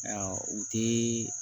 u tɛ